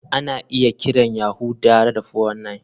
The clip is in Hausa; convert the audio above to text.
Ana iya kiran Yahoo tare da 419.